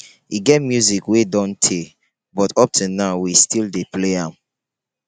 e get music wey don tey but up to now we still dey play am.